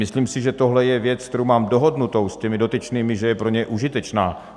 Myslím si, že tohle je věc, kterou mám dohodnutou s těmi dotyčnými, že je pro ně užitečná.